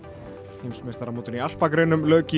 heimsmeistaramótinu í alpagreinum lauk í